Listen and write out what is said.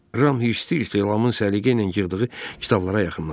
Ram hirs-hirs Lamın səliqə ilə yığdığı kitablara yaxınlaşdı.